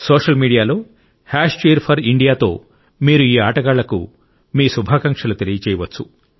social మీడియాలో hash cheer 4 ఇండియాతో మీరు ఈ ఆటగాళ్లకు మీరు శుభాకాంశాలు తెలియజేయవచ్చు